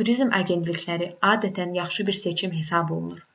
turizm agentlikləri adətən yaxşı bir seçim hesab olunur